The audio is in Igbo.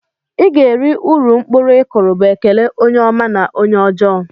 "Iga eri uru mkpụrụ ikụrụ" bu ekele onye ọma na onye ọjọ.